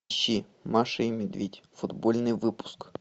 ищи маша и медведь футбольный выпуск